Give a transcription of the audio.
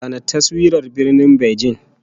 Zana taswirar Birnin Beijing!